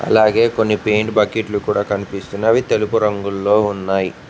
అలాగే కొన్ని పెయింట్ బకెట్లు కూడా కనిపిస్తున్నవి తెలుపు రంగులో ఉన్నాయ్.